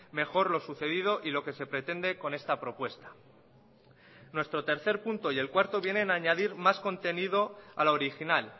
mejor lo sucedido y lo que se pretende con esta propuesta nuestro punto tres y cuatro vienen a añadir más contenido a la original